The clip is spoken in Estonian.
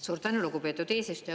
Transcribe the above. Suur tänu, lugupeetud eesistuja!